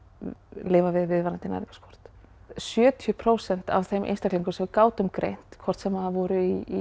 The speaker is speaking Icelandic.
lifað við viðvarandi næringarskort sjötíu prósent af þeim einstaklingum sem við gátum greint hvort sem voru í